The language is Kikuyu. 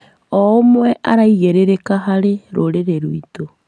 O ũmwe araigĩrĩrĩka harĩ rũrĩrĩ rwitũ.